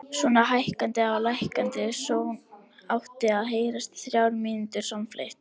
Svona hækkandi og lækkandi sónn átti að heyrast í þrjár mínútur samfleytt.